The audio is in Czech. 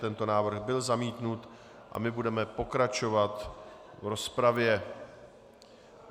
Tento návrh byl zamítnut a my budeme pokračovat v rozpravě.